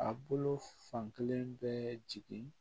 A bolo fan kelen bɛ jigini